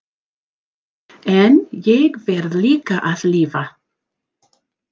En ég verð líka að lifa.